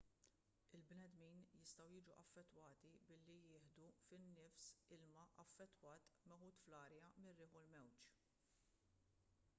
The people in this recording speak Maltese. il-bnedmin jistgħu jiġu affettwati billi jieħdu fin-nifs ilma affettwat meħud fl-arja mir-riħ u l-mewġ